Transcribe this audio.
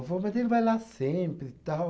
Ele falou, mas ele vai lá sempre e tal.